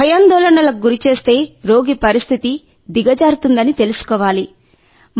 భయాందోళనలకు గురిచేస్తే రోగి పరిస్థితి దిగజారుతుందని తెలుసుకోవాలి